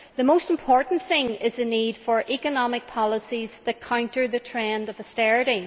The most important thing is the need for economic policies that counter the trend of austerity.